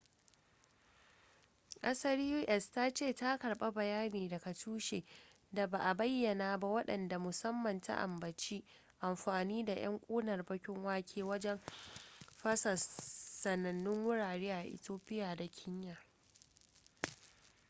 kasar u.s. ta ce ta karba bayani daga tushe da ba a bayyana ba wadda musamman ta ambaci amfani da yan kunar bakin wake wajen fasa sanannu wurare a ethiopia da kenya